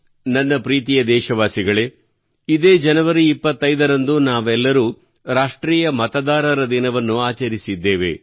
ನನ್ನ ಪ್ರೀತಿಯ ದೇಶವಾಸಿಗಳೇ ಇದೇ ಜನವರಿ 25 ರಂದು ನಾವೆಲ್ಲರೂ ರಾಷ್ಟ್ರೀಯ ಮತದಾನ ದಿನವನ್ನು ಆಚರಿಸಿದ್ದೇವೆ